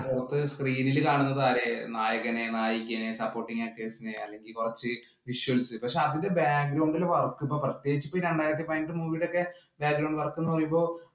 അത് screen ഇല് കാണുന്നത് ആരെയാ? നായകനെ, നായികയെ, supporting actors ഇനെ അല്ലെങ്കിൽ കുറച്ച് visuals. പക്ഷേ അതിന്‍റെ background ഇലെ work ഇപ്പൊ പ്രത്യേകിച്ച് രണ്ടായിരത്തി പതിനെട്ട് movie ഇലൊക്കെ background work എന്ന് പറയുമ്പോ